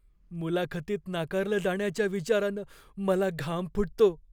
मुलाखतीत नाकारलं जाण्याच्या विचारानं मला घाम फुटतो.